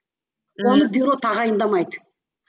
оны бюро тағайындамайды